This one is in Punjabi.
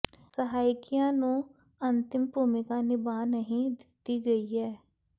ਸਹਾਇਕੀਆਂ ਨੂੰ ਅੰਤਿਮ ਭੂਮਿਕਾ ਨਿਭਾ ਨਹੀਂ ਦਿੱਤੀ ਗਈ ਹੈ